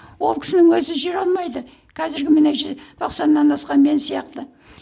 ол кісінің өзі жүре алмайды қазіргі міне тоқсаннан асқан мен сияқты